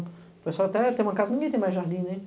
O pessoal até, tem uma casa, ninguém tem mais jardim, né?